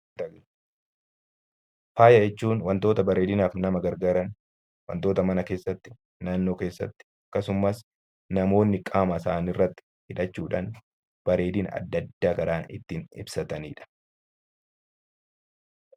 Faaya jechuun wantoota bareedinaaf nama gargaaran, wantoota mana keessatti, naannoo keessatti akkasumas namoonni qaama isaanii irratti hidhachuudhaan bareedina adda addaa kan ittiin ibsatanidha.